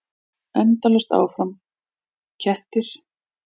Endalaust áfram: kettir.